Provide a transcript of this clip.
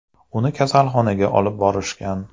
Uni kasalxonaga olib borishgan.